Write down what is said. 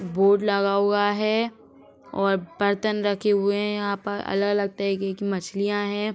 Board लगा हुआ है और बर्तन रखे हुए हैं यहाँ पर। अलग-अलग तरीके की मछलियाँ हैं।